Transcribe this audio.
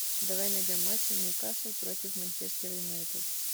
давай найдем матч ньюкасл против манчестер юнайтед